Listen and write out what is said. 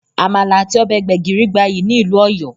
Àmàlà àti ọbẹ̀ gbẹ́gìrì gbayyi ni ìlú Ọ̀yọ́